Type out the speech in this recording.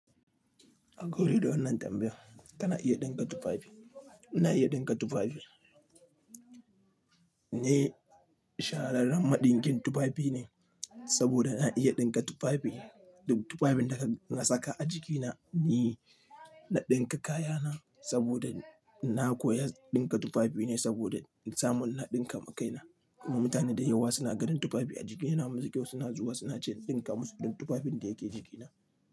A ga wuri don nan gombe kana iya ɗinka tufafi. Ina iya ɗinka tufafi. Ni shahararren maɗinkin tufafi ne saboda na iya ɗinka tufafi. Tufafin da ka saka a jikina ni na ɗinka kayana saboda na koya ɗinka tufafi ne saboda samun naɗin kamakai na. Mutane da yawa suna ganin tufafi a jikina masu kyau suna zuwa suna ce in ɗinka musu don tufafin da yake jikina.